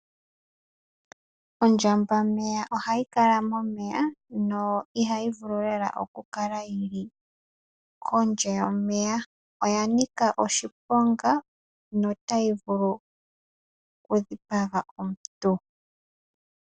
Ondjambameya ohayi kala momeya, ihayi vulu naanaa okukala kaayi li momeya. Oyanika oshiponga notayi vulu okudhipaga omuntu.